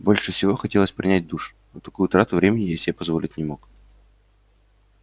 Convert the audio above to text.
больше всего хотелось принять душ но такую трату времени я себе позволить не мог